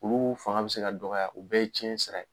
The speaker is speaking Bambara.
Olu fanga bɛ se ka dɔgɔya u bɛɛ ye cɛn sira ye.